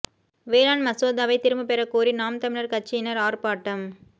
வேளாண் மசோதாவை திரும்ப பெற கோரி நாம் தமிழர் கட்சியினர் ஆர்ப்பாட்டம்